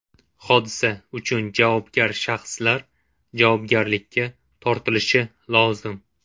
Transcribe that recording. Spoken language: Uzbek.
Hodisa uchun javobgar shaxslar javobgarlikka tortilishi lozim.